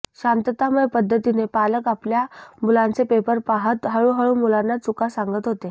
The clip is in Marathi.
शांततामय पद्धतीने पालक आपल्या मुलांचे पेपर पाहत हळूहळू मुलांना चुका सांगत होते